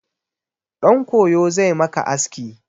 Ɗan koyo zai maka aski.